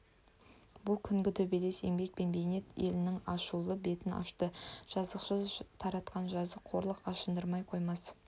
бұл күнгі төбелес еңбек пен бейнет елінің ашулы бетін ашты жазықсыз тартқан жаза қорлық ашындырмай қоймас